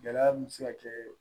Gɛlɛya min bɛ se ka kɛ